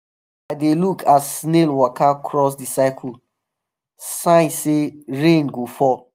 i dey look as snail waka cross the circle — sign say rain um go fal